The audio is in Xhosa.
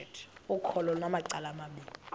ukholo lunamacala amabini